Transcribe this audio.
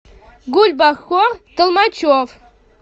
гульбахор толмачев